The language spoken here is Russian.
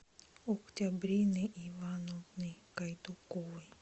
октябрины ивановны гайдуковой